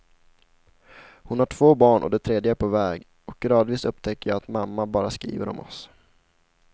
Hon har två barn och det tredje på väg och gradvis upptäcker jag att mamma bara skriver om oss.